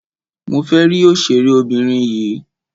Mo fẹ́ rí òṣèré obìnrin yìí.